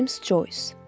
Ceyms Coys.